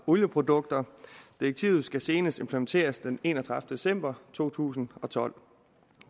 olieprodukter direktivet skal senest implementeres den enogtredivete december to tusind og tolv